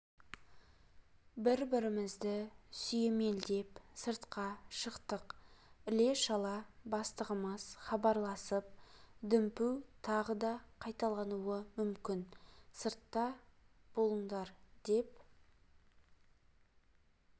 бір-бірімізді сүйемелдеп сыртқа шықтық іле-шала бастығым хабарласып дүмпу тағы да қайталануы мүмкін сыртта болыңдар деп